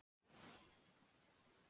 Eruð þér meiddur?